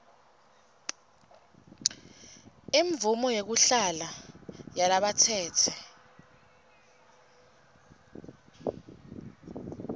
imvumo yekuhlala yalabatsetse